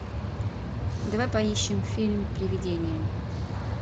давай поищем фильм привидение